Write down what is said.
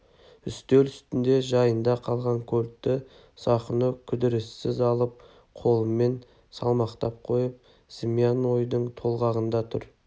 үстел үстінде жайында қалған кольтті сахно кідіріссіз алып қолымен салмақтап қойып зымиян ойдың толғағында тұр